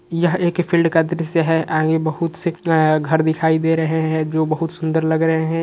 यह एक फील्ड दृश्य है। आगे बहुत से घर दिखाई दे रहे हैं जो बहुत सुंदर लग रहे हैं।